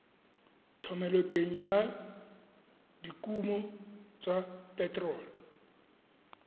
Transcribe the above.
thomeloteng ya dikuno tsa phetherol